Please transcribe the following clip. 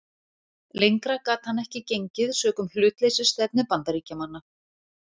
Lengra gat hann ekki gengið sökum hlutleysisstefnu Bandaríkjamanna.